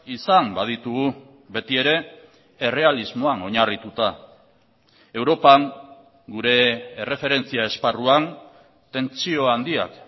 izan baditugu beti ere errealismoan oinarrituta europan gure erreferentzia esparruan tentsio handiak